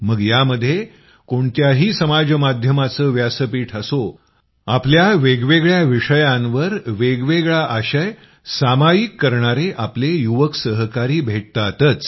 मग यामध्ये कोणत्याही समाज माध्यमाचे व्यासपीठ असो आपल्या वेगवेगळ्या विषयांवर वेगवेगळा आशय सामायिक करणारे आपले युवक सहकारी भेटतातच